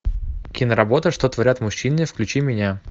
киноработа что творят мужчины включи меня